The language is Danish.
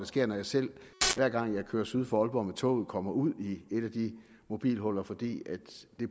sker når jeg selv hver gang jeg kører syd for aalborg med toget kommer ud i et af de mobilhuller for det